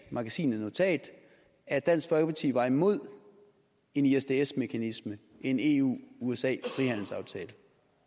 magasinet notat at dansk folkeparti var imod en isds isds mekanisme en eu usa frihandelsaftale